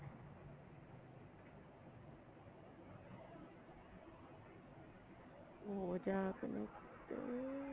ਹੋ ਜਾ connect